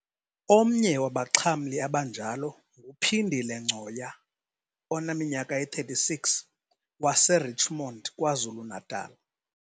Omnye wabaxhamli abanjalo nguPhindile Ngcoya oneminyaka eyi-36 wase-Richmond KwaZulu-Natal.